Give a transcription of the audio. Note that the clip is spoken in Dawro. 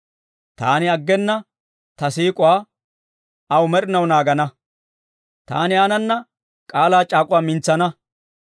Taani aggena ta siik'uwaa aw med'inaw naagana. Taani aanana k'aalaa c'aak'uwaa mintsana.